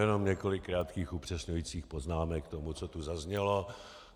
Jenom několik krátkých upřesňujících poznámek k tomu, co tu zaznělo.